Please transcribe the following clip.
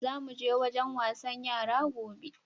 Za mu je wajen wasan yara gobe.